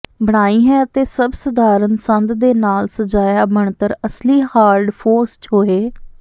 ਬਣਾਈ ਹੈ ਅਤੇ ਸਭ ਸਧਾਰਨ ਸੰਦ ਦੇ ਨਾਲ ਸਜਾਇਆ ਬਣਤਰ ਅਸਲੀ ਹਾਰਡ ਫੋਰਸ ਛੋਹੇ